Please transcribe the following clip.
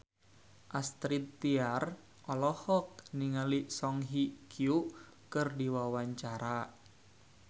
Astrid Tiar olohok ningali Song Hye Kyo keur diwawancara